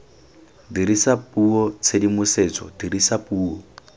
dirisa puo tshedimosetso dirisa puo